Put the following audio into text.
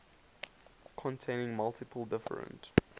containing multiple different